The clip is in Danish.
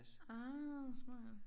Ah smart